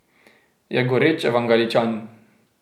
Je goreč evangeličan.